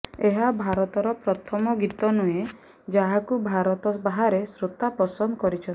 ଏହା ଭାରତର ପ୍ରଥମ ଗୀତ ନୁହେଁ ଯାହାକୁ ଭାରତ ବାହାରେ ଶ୍ରୋତା ପସନ୍ଦ କରିଛନ୍ତି